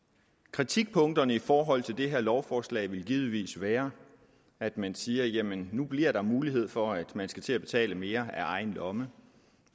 kritikpunkterne i forhold til det her lovforslag vil givetvis være at man siger jamen nu bliver der mulighed for at man skal til at betale mere af egen lomme